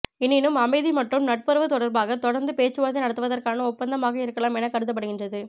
எனினும் அமைதி மற்றும் நட்புறவு தொடர்பாக தொடர்ந்து பேச்சுவார்த்தை நடத்துவதற்கான ஒப்பந்தமாக இருக்கலாம் என கருதப்படுகின்றது